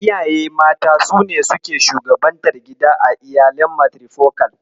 Iyaye mata sune suke shugabantar gida a iyalin matirifokal.